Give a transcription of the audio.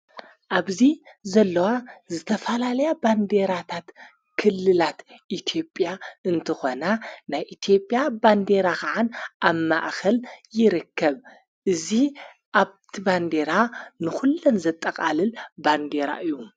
ኣብዙ ዘለዋ ዝተፋላልያ ባንዴራታት ክልላት ኢቲጵያ እንተኾና ናይ ኢቲጵያ ባንዴራ ኸዓን ኣብ ማእኸል ይርከብ እዙ ኣብቲ ባንዴራ ንዂለን ዘጠቓልል ባንዴራ እዩ።